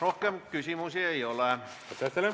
Rohkem küsimusi ei ole.